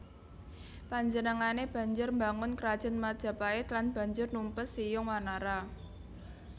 Panjenengané banjur mbangun Krajan Majapait lan banjur numpes Siyung Wanara